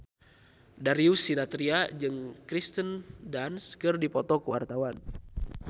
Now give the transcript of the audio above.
Darius Sinathrya jeung Kirsten Dunst keur dipoto ku wartawan